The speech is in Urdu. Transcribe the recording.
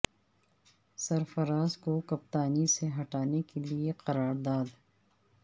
سرفراز کو کپتانی سے ہٹانے کے لیے قرار داد